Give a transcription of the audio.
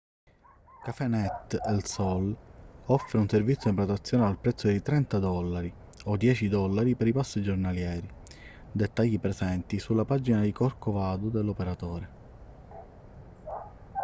cafenet el sol offre un servizio di prenotazione al prezzo di 30 dollari o 10 dollari per i pass giornalieri dettagli presenti sulla pagina di corcovado dell'operatore